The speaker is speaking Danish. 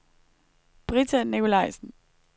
Britta Nicolajsen